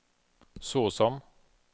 såsom